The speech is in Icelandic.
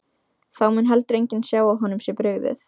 Þá mun heldur enginn sjá að honum sé brugðið.